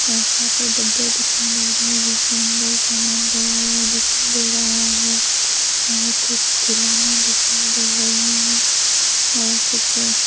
बहुत सारे डब्बे दिखाई दे रहे है जिसके अंदर सामान भरा हुआ दिखाई दे रहा है और कुछ खिलौने दिखाई दे रहे है और कुछ--